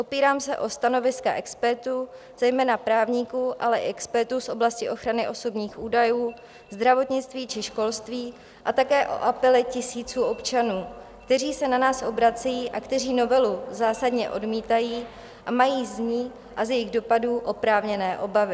Opírám se o stanoviska expertů, zejména právníků, ale i expertů z oblasti ochrany osobních údajů, zdravotnictví či školství a také o apely tisíců občanů, kteří se na nás obracejí a kteří novelu zásadně odmítají a mají z ní a z jejích dopadů oprávněné obavy.